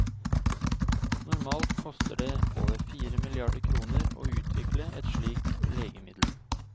Normalt koster det over fire milliarder kroner å utvikle et slikt legemiddel.